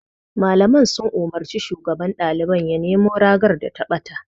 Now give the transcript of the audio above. Malaman sun umarci shugaban ɗaliban ya nemo ragar da ta ɓata.